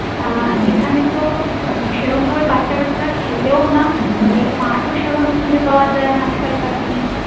আহ এখানে তো সেরম ভাবে বাচ্চা কাচ্চারা খেলেও না মাঠ ও সেভাবে খুঁজে পাওয়া যাই না আজ কাল কার দিনে